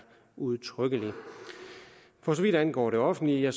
udtrykkelig for så vidt angår det offentlige er